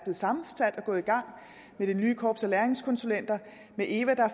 sammensat og er gået i gang med det nye korps af læringskonsulenter og med eva der